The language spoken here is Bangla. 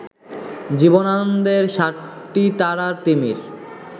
জীবনানন্দের সাতটি তারার তিমির